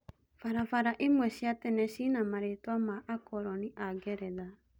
Barabara imwe cia tene ciĩna marĩtwa ma-Akoroni a-Ngeretha.